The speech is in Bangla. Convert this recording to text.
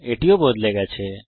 এটিও বদলে গেছে